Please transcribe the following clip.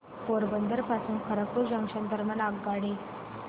पोरबंदर पासून खरगपूर जंक्शन दरम्यान आगगाडी